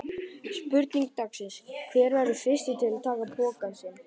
Spurning dagsins: Hver verður fyrstur til að taka pokann sinn?